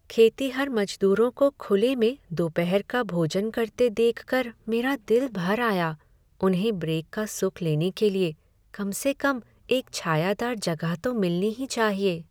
खेतिहर मजदूरों को खुले में दोपहर का भोजन करते देख कर मेरा दिल भर आया। उन्हें ब्रेक का सुख लेने के लिए कम से कम एक छायादार जगह तो मिलनी ही चाहिए।